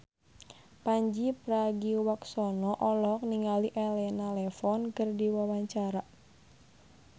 Pandji Pragiwaksono olohok ningali Elena Levon keur diwawancara